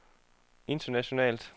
internationalt